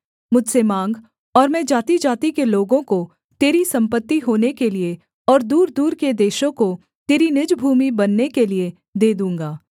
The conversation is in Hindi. मुझसे माँग और मैं जातिजाति के लोगों को तेरी सम्पत्ति होने के लिये और दूरदूर के देशों को तेरी निज भूमि बनने के लिये दे दूँगा